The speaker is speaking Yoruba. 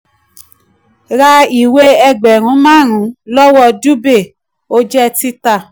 ra ìwé ẹgbẹ̀rún márùn-ún lọ́wọ́ dubey ó jẹ́ tita.